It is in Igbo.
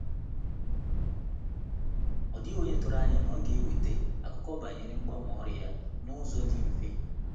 Ọ dịghị onye tụrụ anya na ọ ga-eweta akụkọ banyere mgbanwe ọrụ ya n'ụzọ di mfe